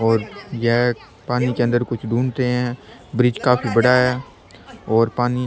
और यह पानी के अंदर कुछ ढूढ़ते है ब्रिज काफी बड़ा है और पानी --